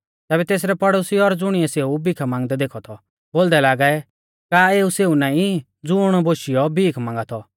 तैबै तेसरै पड़ोसी और ज़ुणिऐ सेऊ भीखा मांगदै देखौ थौ बोलदै लागै का एऊ सेऊ नाईं ज़ुण बोशियौ भीख मांगा थौ